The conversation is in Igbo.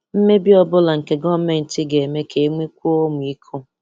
Mmebi ọ̀bụ̀la nke gọ̀mentị ga-eme ka e nwekwuo ọ̀mị̀iko.